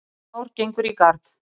Nýtt ár gengur í garð